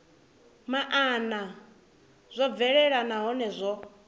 maana zwo bvelela nahone zwo